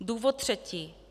Důvod třetí.